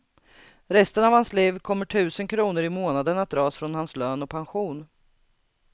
Resten av hans liv kommer tusen kronor i månaden att dras från hans lön och pension.